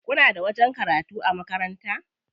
Kuna da wajen karatu a makaranta?